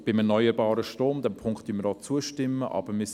Betreffend erneuerbarer Strom: Diesem Punkt stimmen wir zu.